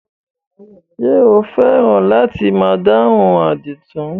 Ṣé o fẹ́ràn láti máa dáhùn àdìtú?